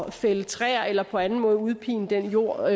at fælde træer eller på anden måde udpine den jord